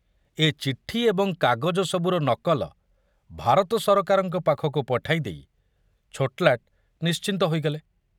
ଏ ଚିଠି ଏବଂ କାଗଜ ସବୁର ନକଲ ଭାରତ ସରକାରଙ୍କ ପାଖକୁ ପଠାଇ ଦେଇ ଛୋଟଲାଟ ନିଶ୍ଚିନ୍ତ ହୋଇଗଲେ।